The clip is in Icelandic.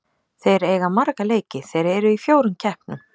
Þeir eiga marga leiki, þeir eru í fjórum keppnum.